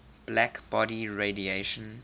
black body radiation